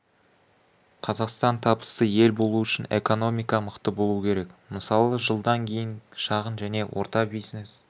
қазақстан табысты ел болу үшін экономика мықты болуы керек мысалы жылдан кейін шағын және орта бизнес